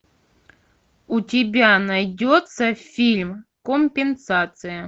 у тебя найдется фильм компенсация